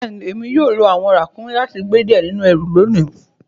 Bẹẹni, èmi yóò lọ awọn ràkúmí láti gbẹ diẹ̀ nínu ẹ̀rù lónì.